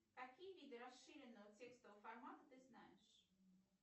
какие виды расширенного текстового формата ты знаешь